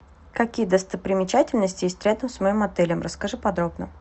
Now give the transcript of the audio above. какие достопримечательности есть рядом с моим отелем расскажи подробно